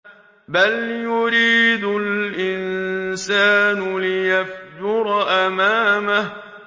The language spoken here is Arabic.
بَلْ يُرِيدُ الْإِنسَانُ لِيَفْجُرَ أَمَامَهُ